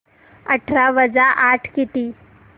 अठरा वजा आठ किती